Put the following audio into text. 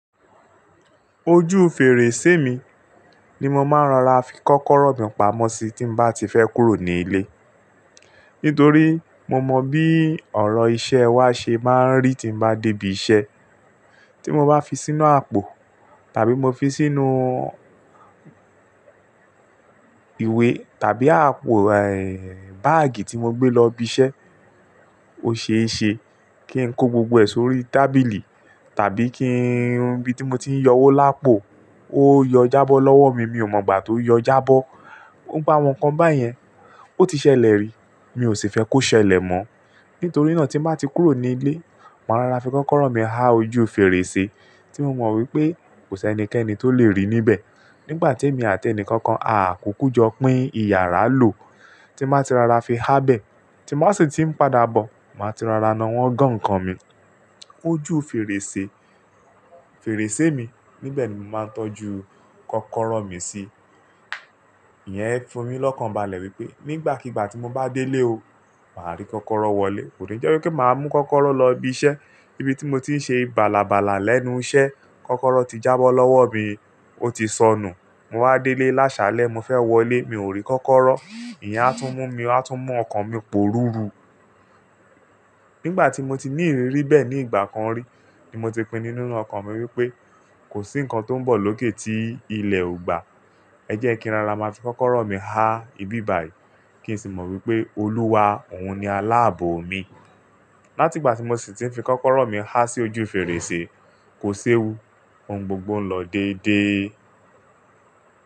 Ojú fèrèsé mi ni mo máa ń rara fi kọ́kọ́rọ́ mi pamọ́ sí tí mo bá ti fẹ́ kúrò ní ilé. Nítorí mo mọ bí ọ̀rọ̀ iṣẹ́ wa ṣe máa ń rí tí mo bá dé ibi iṣẹ́. Tí mo bá fi sínú àpò tàbí mo fi sínú ìwé tàbí àpò, báàgì tí mo gbé lọ ibi iṣẹ́, ó ṣe é ṣe kí n kó gbogbo ẹ̀ sórí tábìlì tàbí kí n, ibi tí mo ti ń yọ owó lápò ó yọ jábọ́ lọ́wọ́ mi, mi ò mọ̀ gbà tó yọ jábọ́. Awọn kan báyẹn, ó ti ṣẹlẹ̀ rí, mi ò sì fẹ́ kó ṣẹlẹ̀ mọ́. Nítorí náà tí mo bá ti kúrò ní ilé, màá rara fi kọ́kọ́rọ́ mi há ojú fèrèsé tí mo mọ̀ wípé kò sẹ́ ẹnikẹ́ni tó lè rí níbẹ̀. Nígbà tí èmi àti ẹnìkankan a kùkú jọ pín ìyàrá lò, tí mo bá ti rara fi há bẹ̀, tí mo sì ti ń padà bọ̀, màá ti rara na wọ́n gan-an nǹkan mi. Ojú fèrèsé, fèrèsé mi, níbẹ̀ ni mo máa ń tọ́jú kọ́kọ́rọ́ mi sí. Iyẹn fún mi lọ́kàn balẹ̀ wípé nígbàkigbà tí mo bá délé o, màá rí kọ́kọ́rọ́ wọlé. Kò rí jẹ́ wípé máa mú kọ́kọ́rọ́ lọ ibi iṣẹ́. Ibi tí mo ti ń ṣe ìbàlàbàlà lẹ́nu iṣẹ́, kọ́kọ́rọ́ ti jábọ́ lọ́wọ́ mi, ó ti sọnù. Mo wá délé lásàlẹ̀, mo fẹ́ wọlé, mi ò rí kọ́kọ́rọ́. Iyẹn á tún mú mi, á tún mú ọkàn mi pòrùru. Nígbà tí mo ti ní ìrírí bẹ́ẹ̀ ní ìgbà kan rí ni mo ti pinnu nínú ọkàn mi wípé kò sí nǹkan tó ń bọ̀ lókè tí ilẹ̀ ò gba. Ẹ jẹ́ kí n rara máa fi kọ́kọ́rọ́ mi há ibi ìbàyi kí n sì mọ̀ wípé Olúwa òun ni aláàbò mi. Láti ìgbà tí mo sì ti ń fi kọ́kọ́rọ́ mi há sí ojú fèrèsé, kò sé wu, ohun gbogbo ń lọ dédé.